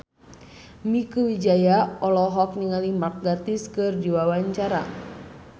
Mieke Wijaya olohok ningali Mark Gatiss keur diwawancara